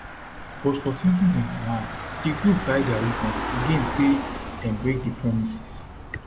but for 2021 di group carry dia weapons again say dem break di promises